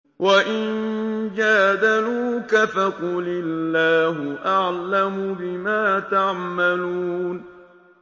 وَإِن جَادَلُوكَ فَقُلِ اللَّهُ أَعْلَمُ بِمَا تَعْمَلُونَ